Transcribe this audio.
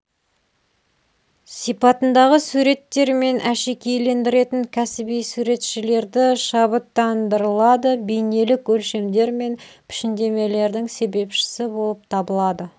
сипатындағы суреттермен әшекейлендіретін кәсіби суретшілерді шабыттандырылады бейнелік өлшемдер мен пішіндемелердің себепшісі болып табылады